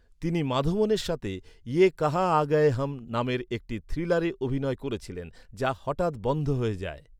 তিনি মাধবনের সাথে ‘ইয়ে কাঁহা আ গয়ে হাম’ নামের একটি থ্রিলারে অভিনয় করেছিলেন, যা হঠাৎ বন্ধ হয়ে যায়।